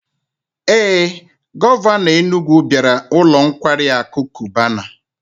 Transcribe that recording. Ee, Govano Enugwu biara ulo nkwari aku Cubana